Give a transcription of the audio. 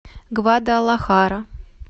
гвадалахара